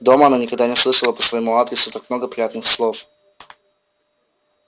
дома она никогда не слышала по своему адресу так много приятных слов